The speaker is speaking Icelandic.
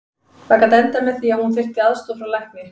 Það gat endað með því að hún þyrfti aðstoð frá lækni.